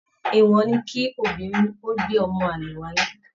Èèwọ̀ ni kí obìnrin ó gbé ọmọ àlè wálé.